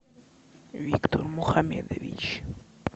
виктор мухамедович